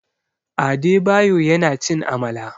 Adebayo yana cin Amala.